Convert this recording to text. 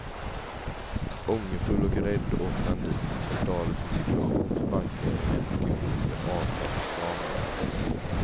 Ångerfull och rädd åkte han dit, förklarade sin situation för bankledningen och gjorde upp en avbetalningsplan med dem.